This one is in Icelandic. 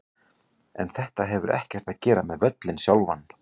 En þetta hefur ekkert að gera með völlinn sjálfan.